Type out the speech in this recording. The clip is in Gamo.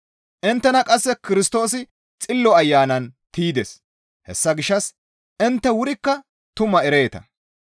Inttena qasse Kirstoosi Xillo Ayanan tiydes; hessa gishshas intte wurikka tumaa ereeta.